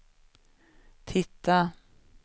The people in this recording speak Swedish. titta